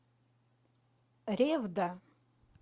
ревда